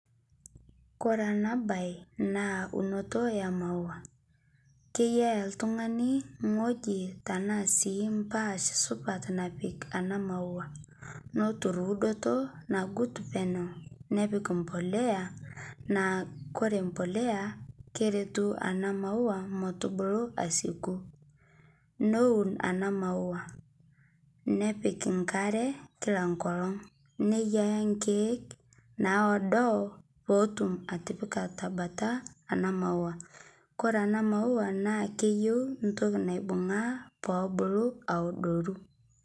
Kore enabae na eunoto emaua keyia oltungani ewoi ashu mbaa supat napik ena maua neud enkumoto nagut penyo nepik embolea naa koree empolea nakeretu enamaua metubulu esiidai neaun enamau nepik enkare kila enkolong meyiaya nkiek naado petum atipika tenkalo enamaua koree enamaua na keyieu entoki naibungaa pebulu aadoru